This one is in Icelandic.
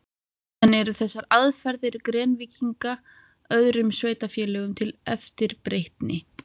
En eru þessar aðferðir Grenvíkinga öðrum sveitarfélögum til eftirbreytni?